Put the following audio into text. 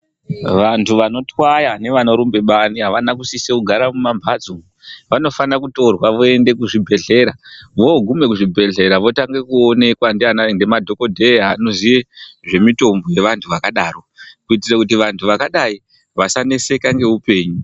Vantu vanotwaya nevanorumba bani havana kusiso kugara mumamhatso umwu. Vanofana kutorwa voende kuzvibhedhlera vogume kuzvibhedhlera votange kuonekwa ndiana ngemadhogodheya anoziye zvemitombo yeantu akadaro. Kuitire kuti vantu vakadai vasaneseka neupenyu.